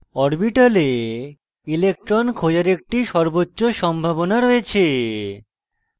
orbital electron খোঁজার একটি সর্বোচ্চ সম্ভাবনা রয়েছে